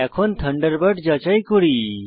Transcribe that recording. এখন থান্ডারবার্ড যাচাই করি